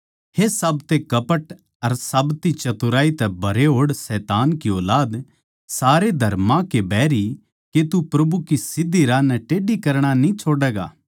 हे साबतै कपट अर साब्ती चतुराई तै भरे होड़ शैतान की ऊलाद सारे धर्मां के बैरी के तू प्रभु के सीध्धी राही नै टेढ़ी करणा न्ही छोड्डैगा